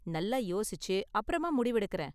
நல்லா யோசிச்சு அப்பறமா முடிவு எடுக்கிறேன்.